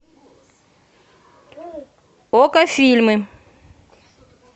окко фильмы